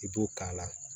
I b'o k'a la